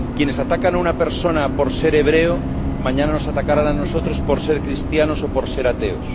Quienes atacan a una persona por ser hebrea, mañana nos atacarán a nosotros por ser cristianos o por ser ateos.